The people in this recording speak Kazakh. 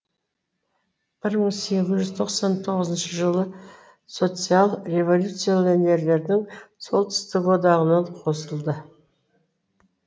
бір мың сегіз жүз тоқсан тоғызыншы жылы социал революционерлердің солтүстік одағына қосылды